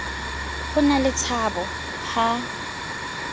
ho na le tshabo ha